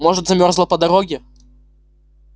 может замёрзла по дороге